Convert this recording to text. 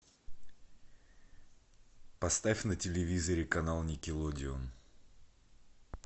поставь на телевизоре канал никелодеон